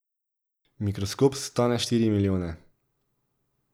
Mikroskop stane štiri milijone.